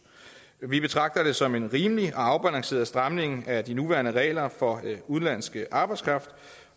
vi betragter det som en rimelig og afbalanceret stramning af de nuværende regler for udenlandsk arbejdskraft